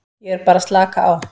Ég er bara að slaka á.